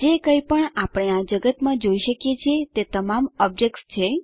જે કઈપણ આપણે આ જગતમાં જોઈ શકીએ છીએ તે તમામ ઓબ્જેક્ત્સ છે